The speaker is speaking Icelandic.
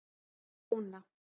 Jóna